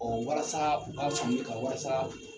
walasaa u ka Sunjeta walasa